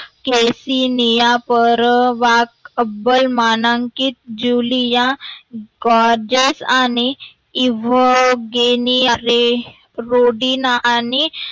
Kseniya परवाकअव्वल मानांकिक Julia Goerges आणि इवगेनीया रे रोडीनाइवगेनीया रे रोडीना आणि